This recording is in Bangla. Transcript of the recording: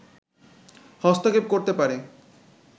হস্তক্ষেপ করতে পারে